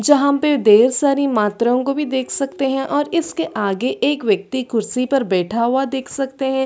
जहा पे ढेर सारी मात्राओ को भी देख सकते है और इसके आगे एक व्यक्ति खुर्शी पर बैठा हुआ देख सकते है।